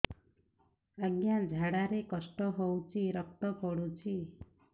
ଅଜ୍ଞା ଝାଡା ରେ କଷ୍ଟ ହଉଚି ରକ୍ତ ପଡୁଛି